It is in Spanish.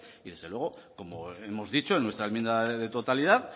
y desde luego como hemos dicho en nuestra enmienda de totalidad